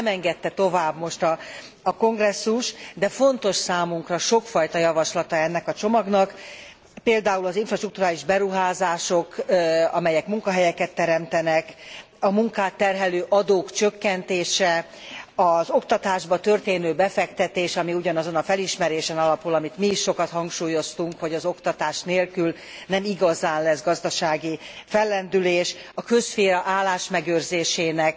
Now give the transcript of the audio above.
Ugyan nem engedte tovább most a Kongresszus, de fontos számunkra sokfajta javaslata ennek a csomagnak, például az infrastrukturális beruházások, amelyek munkahelyeket teremtenek, a munkát terhelő adók csökkentése, az oktatásba történő befektetés ami ugyanazon a felismerésen alapul, amit mi is sokat hangsúlyoztunk, hogy az oktatás nélkül nem igazán lesz gazdasági fellendülés a közszféra állásmegőrzésének